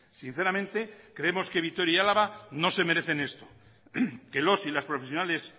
sinceramente creemos que vitoria y álava no se merecen esto que los y las profesionales